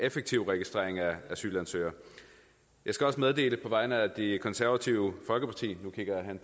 af effektiv registrering af asylansøgere jeg skal også meddele på vegne af det konservative folkeparti